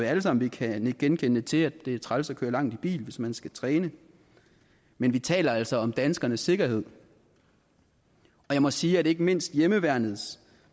alle sammen kan nikke genkendende til altså at det er træls at køre langt i bil hvis man skal træne men vi taler altså om danskernes sikkerhed og jeg må sige at ikke mindst hjemmeværnets